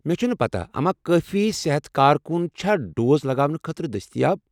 مےٚ چھنہٕ پتہ اما کٲفی صحتٕ کارکٗن چھا ڈوز لگاونہٕ خٲطرٕ دٔستیاب۔